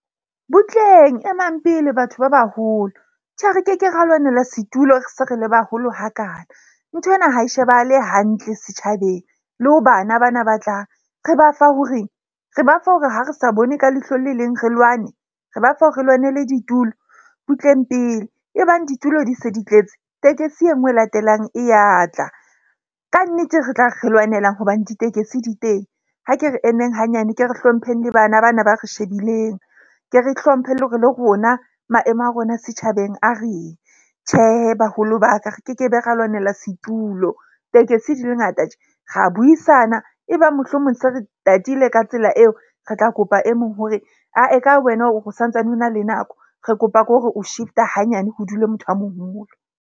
Butleng e mang pele batho ba baholo, tjhe, re keke ra lwanela setulo, re se re le baholo hakana. Nthwena ha e shebahale hantle setjhabeng le ho bana bana ba tlang. Re ba fa ho re re bafa hore ha re sa bone ka leihlo le leng re lwane? Re ba fa ho re lwanele ditulo? Butleng pele e bang ditulo di se di tletse. Tekesi enngwe e latelang e ya tla. Kannete, re tla re lwanelang hobane ditekesi di teng. Ha ke re emeng hanyane, ke re hlompheng le bana bana ba re shebileng, ke re hlomphe le hore le rona maemo a rona a setjhabeng a reng. Tjhe, baholo ba ka re kekebe ra lwanela setulo. Tekesi di le ngata tje, Ra buisana e bang mohlomong se re tatile ka tsela eo re tla kopa e mong hore ae ka wena o santsane o na le nako, re kopa ko re o shift-a hanyane ho dule motho a moholo.